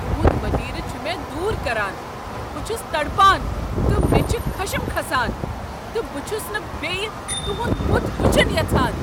تہُنٛد ؤتیرٕ چھ مےٚ دوٗر کران۔ بہٕ چُھس تڑپان تہٕ مےٚ چھ خشم كھسان تہٕ بہٕ چھُس نہٕ بییہ تہنٛد بتھ وٕچھن یژھان۔